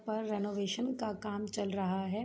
पर रेनोवेशन का काम चल रहा है।